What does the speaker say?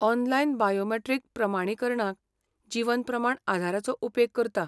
Online biometric प्रमाणीकरणाक जीवन प्रमाण आधाराचो उपेग करता.